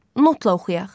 Notla oxuyaq.